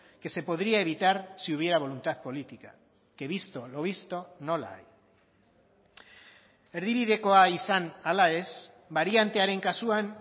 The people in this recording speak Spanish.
que se podría evitar si hubiera voluntad política que visto lo visto no la hay erdibidekoa izan ala ez bariantearen kasuan